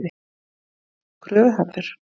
Gunnar: Kröfuharður?